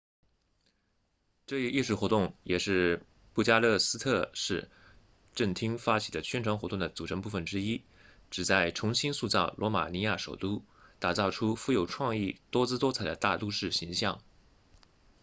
这一艺术活动也是布加勒斯特市政厅发起的宣传活动的组成部分之一旨在重新塑造罗马尼亚首都打造出富有创意多姿多彩的大都市形象